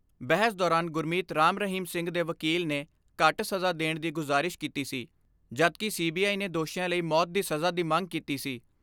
ਬਹਿਸ ਦੌਰਾਨ ਗੁਰਮੀਤ ਰਾਮ ਰਹੀਮ ਸਿੰਘ ਦੇ ਵਕੀਲ ਨੇ ਘੱਟ ਸਜ਼ਾ ਦੇਣ ਦੀ ਗੁਜ਼ਾਰਿਸ ਕੀਤੀ ਸੀ, ਜਦਕਿ ਸੀ ਬੀ ਆਈ ਨੇ ਦੋਸ਼ੀਆਂ ਲਈ ਮੌਤ ਦੀ ਸਜ਼ਾ ਦੀ ਮੰਗ ਕੀਤੀ ਸੀ।